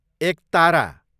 एकतारा